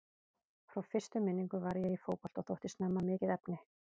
Frá fyrstu minningu var ég í fótbolta og þótti snemma mikið efni.